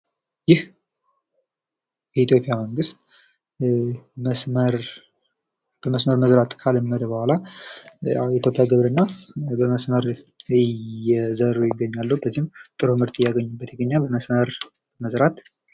ይህ የኢትዮጵያ መንግስት መስመር በመስመር መዝራት ካለመደ በኋላ የኢትዮጵያ ግብርና ጥሩ ምርት እያገኙበት ይገኛል።